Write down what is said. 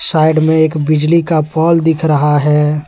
Side में एक बिजली का पोल दिख रहा है।